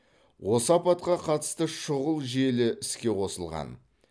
осы апатқа қатысты шұғыл желі іске қосылған